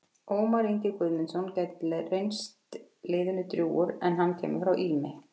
Ómar Ingi Guðmundsson gæti reynst liðinu drjúgur en hann kemur frá Ými.